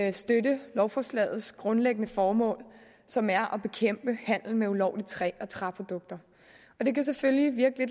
at støtte lovforslagets grundlæggende formål som er at bekæmpe handel med ulovligt træ og træprodukter det kan selvfølgelig virke